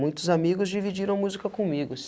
Muitos amigos dividiram a música comigo